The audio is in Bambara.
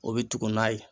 O bɛ tugun n'a ye